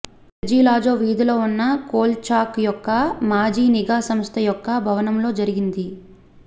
Sergei Lazo వీధిలో ఉన్న Kolchak యొక్క మాజీ నిఘా సంస్థ యొక్క భవనంలో జరిగింది